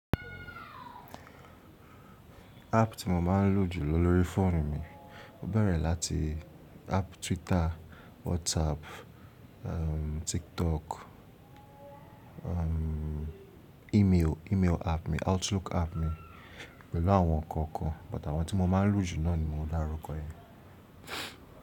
App tí mo máa ń lò jù lọ lórí fóònù mi, mo bẹ̀rẹ̀ láti app Twitter, WhatsApp, um, TikTok, um, email, email app mi, Outlook app mi, pẹ̀lú àwọn kan kan, but àwọn tí mo máa ń lò jù náà ni mo dárúkọ yẹn.